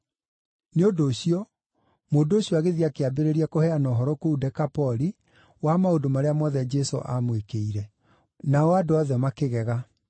Nĩ ũndũ ũcio, mũndũ ũcio agĩthiĩ akĩambĩrĩria kũheana ũhoro kũu Dekapoli wa maũndũ marĩa mothe Jesũ aamwĩkĩire. Nao andũ othe makĩgega.